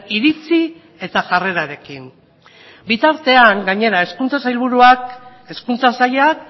iritzi eta jarrerarekin bitartean gainera hezkuntza sailburuak hezkuntza sailak